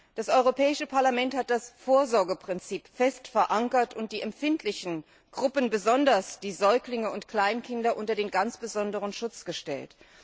Das Europäische Parlament hat das Vorsorgeprinzip fest verankert und die empfindlichen Gruppen besonders die Säuglinge und Kleinkinder unter ganz besonderen Schutz gestellt.